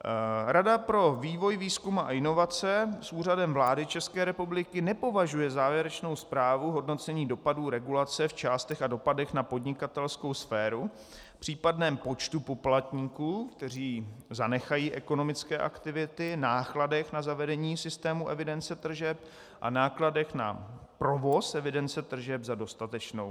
Rada pro vývoj, výzkum a inovace s Úřadem vlády České republiky nepovažuje závěrečnou zprávu hodnocení dopadů regulace v částech a dopadech na podnikatelskou sféru, případném počtu poplatníků, kteří zanechají ekonomické aktivity, nákladech na zavedení systému evidence tržeb a nákladech na provoz evidence tržeb za dostatečnou.